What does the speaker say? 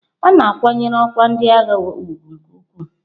A na-akwanyere ọkwa ndị agha ugwu nke ukwuu.